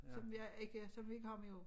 Som jeg ikke som vi ikke har mere af